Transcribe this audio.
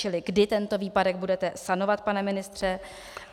Čili kdy tento výpadek budete sanovat, pane ministře?